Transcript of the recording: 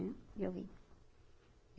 E eu vim.